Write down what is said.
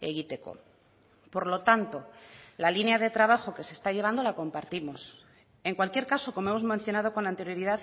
egiteko por lo tanto la línea de trabajo que se está llevando la compartimos en cualquier caso como hemos mencionado con anterioridad